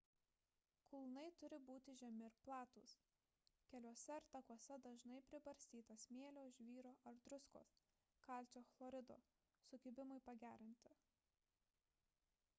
kulnai turi būti žemi ir platūs. keliuose ar takuose dažnai pribarstyta smėlio žvyro ar druskos kalcio chlorido sukibimui pagerinti